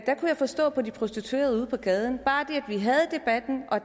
jeg forstå på de prostituerede ude på gaden at bare det at vi havde debatten og